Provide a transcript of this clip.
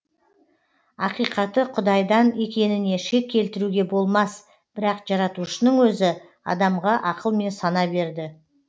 ақиқаты құдайдан екеніне шек келтіруге болмас бірақ жаратушының өзі адамға ақыл мен сана берді